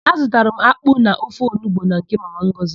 Azụtara m akpụ na ofe onugbu na nke Mama Ngọzị.